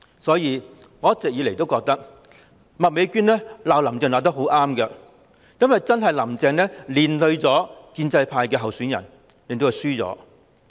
因此，我一直認為麥美娟議員罵"林鄭"罵得很對，因為真的是"林鄭"連累建制派候選人，令他們輸掉議席。